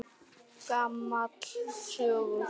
Gamall söngur!